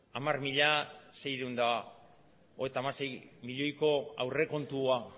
hamar mila seiehun eta hogeita hamasei milioiko aurrekontua